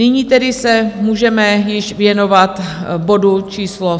Nyní tedy se můžeme již věnovat bodu číslo